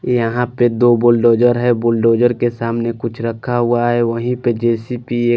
यहा पे दो बुलडोज़र है बुलडोज़र के सामने कुछ रखा हुआ है वही पे जे_सी_पि ह--